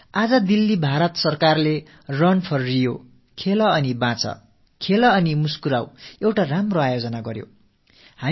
நேற்று தில்லியில் இந்திய அரசு ரன் போர் ரியோ ஓட்டத்தை விளையாடி வாழு விளையாடி வளர்ச்சியடை என்ற ஒரு அருமையான ஏற்பாட்டை செய்திருந்தது